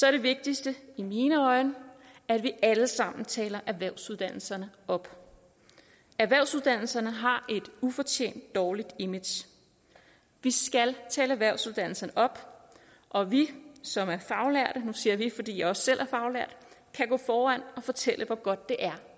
er det vigtigste i mine øjne at vi alle sammen taler erhvervsuddannelserne op erhvervsuddannelserne har et ufortjent dårligt image vi skal tale erhvervsuddannelserne op og vi som er faglærte nu siger jeg vi fordi jeg også selv er faglært kan gå foran og fortælle hvor godt det er